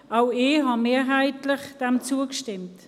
Auch ich habe diesem mehrheitlich zugestimmt.